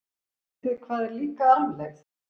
Vitið þið hvað er líka arfleifð?